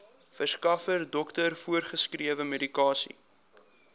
verskaffer dokter voorgeskrewemedikasie